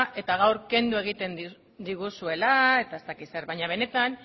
eta gaur kendu egingo diguzuela baina benetan